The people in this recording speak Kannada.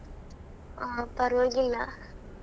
ಹಾ ಪರವಾಗಿಲ್ಲ.